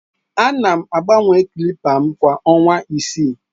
Ana m agbanwe clippers m kwa ọnwa isii.